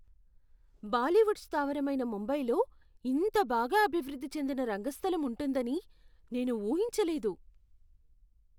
బాలీవుడ్ స్థావరమైన ముంబైలో ఇంత బాగా అభివృద్ధి చెందిన రంగస్థలం ఉంటుందని నేను ఊహించలేదు.